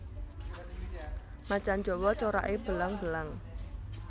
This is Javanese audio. Macan jawa corake belang belang